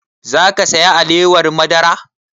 Za ka saya alewar madara?